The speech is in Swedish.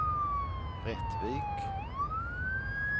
Rättvik